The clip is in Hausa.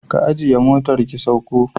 Ki ajiye motar ki sauko